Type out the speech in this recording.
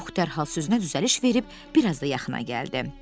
Yox, dərhal sözünə düzəliş verib biraz da yaxına gəldi.